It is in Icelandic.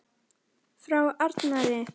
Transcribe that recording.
Frá Arnari!